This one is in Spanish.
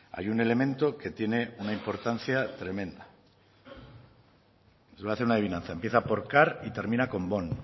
hay un elemento que tiene una importancia tremenda voy a hacer una adivinanza empieza por car y termina con bón